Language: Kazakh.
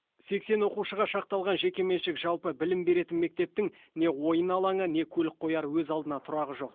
сексен оқушыға шақталған жекеменшік жалпы білім беретін мектептің не ойын алаңы не көлік қояр өз алдына тұрағы жоқ